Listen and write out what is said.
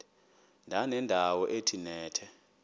ndanendawo ethe nethe